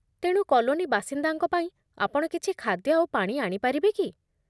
ତେଣୁ, କଲୋନି ବାସିନ୍ଦାଙ୍କ ପାଇଁ ଆପଣ କିଛି ଖାଦ୍ୟ ଆଉ ପାଣି ଆଣିପାରିବେ କି?